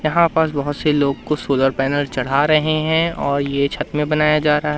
यहां पास बहोत से लोगो कुछ सोलर पैनल चढ़ा रहे हैं और ये छत में बनाया जा रहा--